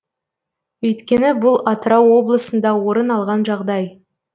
өйткені бұл атырау облысында орын алған жағдай